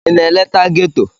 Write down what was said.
Ị na-eleta ghetto?